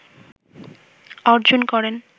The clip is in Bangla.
অর্জন করেন